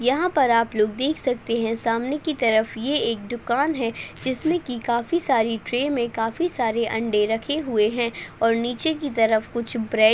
यहाँ पर आपलोग देख सकते है सामने की तरफ ये एक दुकान है जिसमे की काफी सारी ट्रे मे काफी सारे अंडे रखे हुए है और नीचे की तरफ कुछ ब्रेड --